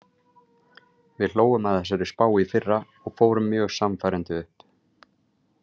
Við hlógum að þessari spá í fyrra og fórum mjög sannfærandi upp.